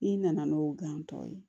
I nana n'o gan tɔ ye